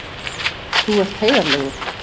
Þú ert heiðarlegur.